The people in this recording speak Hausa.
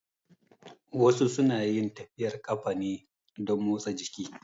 Wasu su na yin tafiyar ƙafa ne don motsa jiki